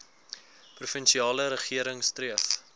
provinsiale regering streef